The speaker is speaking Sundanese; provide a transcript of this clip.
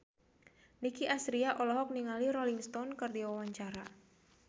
Nicky Astria olohok ningali Rolling Stone keur diwawancara